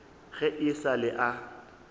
ge e sa le a